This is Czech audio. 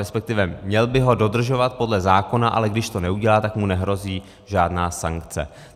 Respektive měl by ho dodržovat podle zákona, ale když to neudělá, tak mu nehrozí žádná sankce.